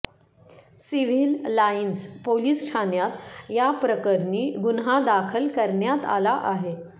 civil lines police ठाण्यात याप्रकरणी गुन्हा दाखल करण्यात आला आहे